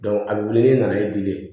a bɛ wili ni nana i dili ye